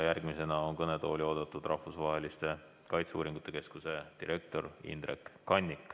Järgmisena on kõnetooli oodatud Rahvusvaheliste Kaitseuuringute Keskuse direktor Indrek Kannik.